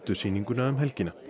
sýninguna um helgina